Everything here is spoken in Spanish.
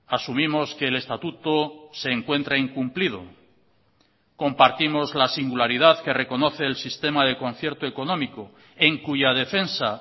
asumimos que el estatuto se encuentra incumplido compartimos la singularidad que reconoce el sistema de concierto económico en cuya defensa